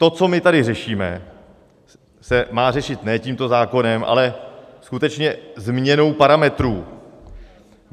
To, co my tady řešíme, se má řešit ne tímto zákonem, ale skutečně změnou parametrů.